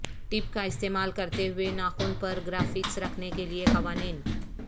ٹپ کا استعمال کرتے ہوئے ناخن پر گرافکس رکھنے کے لئے قوانین